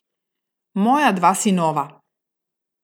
Moja dva sinova!